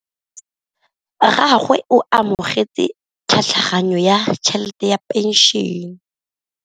Rragwe o amogetse tlhatlhaganyô ya tšhelête ya phenšene.